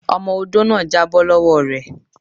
Ọmọ odó náà já bọ́ lọ́wọ́ re.